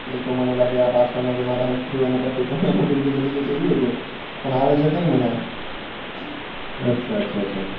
એતો મને લાગે આ પાછળ ના જમાના history લાગે notification અને આવે છે ખરી આ મને અચ્છા અચ્છા.